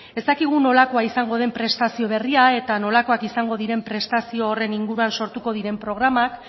ez dakigu nolakoa izango den prestazio berria eta nolakoak izango diren prestazio horren inguruan sortuko diren programak